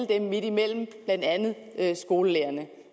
der er midtimellem blandt andet skolelærerne